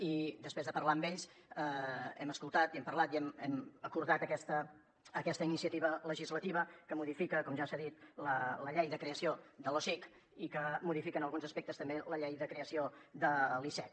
i després de parlar amb ells hem escoltat i hem parlat i hem acordat aquesta iniciativa legislativa que modifica com ja s’ha dit la llei de creació de l’osic i que modifica en alguns aspectes també la llei de creació de l’icec